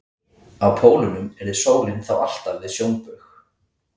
Á pólunum yrði sólin þá alltaf við sjónbaug.